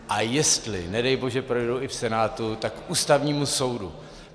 A jestli nedej bože projdou i v Senátu, tak k Ústavnímu soudu.